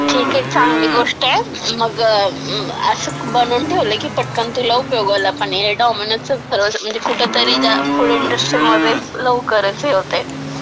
ठीक आहे, चांगली गोष्ट आहे, मग असं बनवून ठेवलं की, पटकन तुला उपयोगाला पण येईल.डॉमिनोजचं परवाचं, म्हणजे कुठं तरी फूड इंडस्ट्रीमध्ये लवकरच हे होतंय.